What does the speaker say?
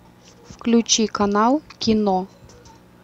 включи канал кино